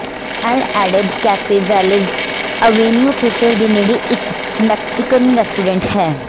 L Adobe cafe Wells Avenue ਖੇਤਰ ਦੇ ਨੇੜੇ ਇਕ ਮੈਕਸੀਕਨ ਰੈਸਟੋਰੈਂਟ ਹੈ